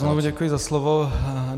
Znovu děkuji za slovo.